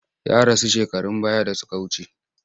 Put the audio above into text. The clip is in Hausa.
Ya rasu shekarun baya da suka wuce.